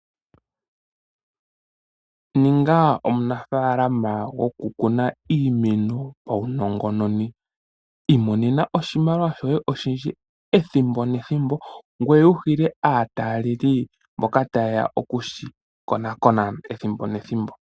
Ninga omunafaalama gokukuna iimeno paunongononi . Imonena oshimaliwa shoye oshindji ethimbo nethimbo. Ngoye wuhile aataleli mboka tayeya okushi konakona ethimbo nethimbo.